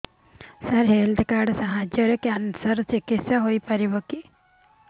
ସାର health card ସାହାଯ୍ୟରେ cancer ର ଚିକିତ୍ସା ହେଇପାରିବ